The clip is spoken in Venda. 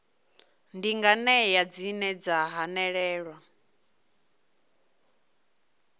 ndi nganea dzine dza hanelelwa